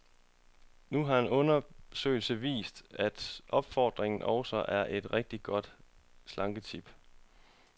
Nu har en undersøgelse vist, at opfordringen også er et rigtigt godt slanketip.